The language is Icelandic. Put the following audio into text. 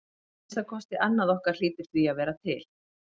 Að minnsta kosti annað okkar hlýtur því að vera til.